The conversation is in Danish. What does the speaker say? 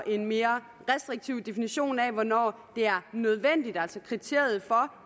en mere restriktiv definition af hvornår det er nødvendigt altså kriteriet for